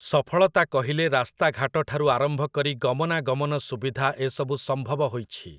ସଫଳତା କହିଲେ ରାସ୍ତା ଘାଟଠାରୁ ଆରମ୍ଭ କରି ଗମନା ଗମନ ସୁବିଧା ଏ ସବୁ ସମ୍ଭବ ହୋଇଛି।